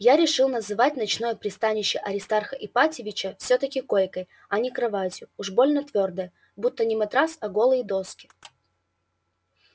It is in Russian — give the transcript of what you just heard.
я решил называть ночное пристанище аристарха ипатьевича всё-таки койкой а не кроватью уж больно твёрдая будто не матрас а голые доски